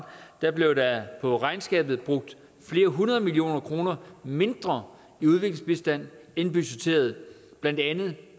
blev der på regnskabet brugt flere hundrede millioner kroner mindre i udviklingsbistand end budgetteret blandt andet